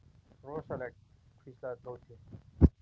Rosalegt hvíslaði Tóti.